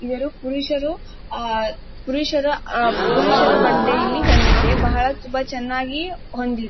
ಇವರು ಪುರುಷರು ಪುರುಷರ ಆಹ್ಹ್ ಪುರುಷರ ಬಟ್ಟೆ ಇಲ್ಲಿ ಹೊಂದಿದೆ ಬಹಳ ತುಂಬಾ ಚೆನ್ನಾಗಿ ಹೊಂದಿ --